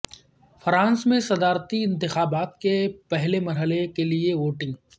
France میں صدارتی انتخابات کے پہلے مرحلے کیلئے ووٹنگ